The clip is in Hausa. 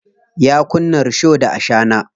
Ya kunna risho da ashana.